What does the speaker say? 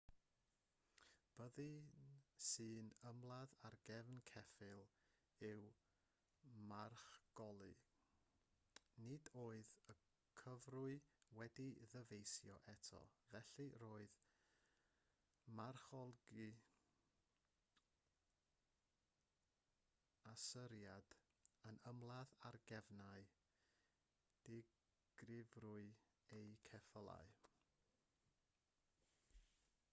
byddin sy'n ymladd ar gefn ceffyl yw marchoglu nid oedd y cyfrwy wedi'i ddyfeisio eto felly roedd marchoglu asyriad yn ymladd ar gefnau digyfrwy eu ceffylau